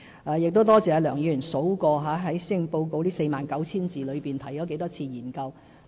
我多謝梁議員數算出施政報告這 49,000 字裏面，提了多少次"研究"。